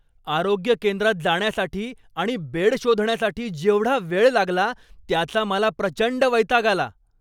आरोग्य केंद्रात जाण्यासाठी आणि बेड शोधण्यासाठी जेवढा वेळ लागला त्याचा मला प्रचंड वैताग आला.